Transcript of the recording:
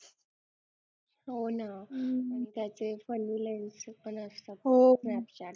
हो ना आणि त्याचे funny lens पण असतात snapchat